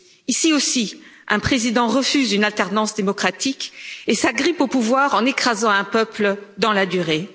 Ici aussi, un président refuse une alternance démocratique et s'agrippe au pouvoir en écrasant un peuple dans la durée.